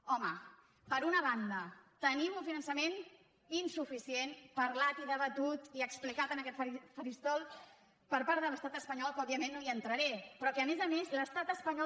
home per una banda tenim un finançament insuficient parlat i debatut i explicat en aquest faristol per part de l’estat espanyol que òbviament no hi entraré però que a més a més l’estat espanyol